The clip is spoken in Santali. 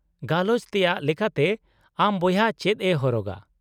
-ᱜᱟᱞᱚᱪ ᱛᱮᱭᱟᱜ ᱞᱮᱠᱟᱛᱮ, ᱟᱢ ᱵᱚᱭᱦᱟ ᱪᱮᱫ ᱮ ᱦᱚᱨᱚᱜᱟ ?